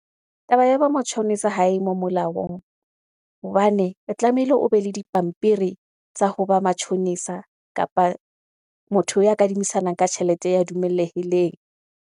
Taba ya bo matjhonisa ha e mo molaong, hobane o tlameile o be le dipampiri tsa ho ba matjhonisa kapa motho ya kadimisanang ka tjhelete ya dumelehileng.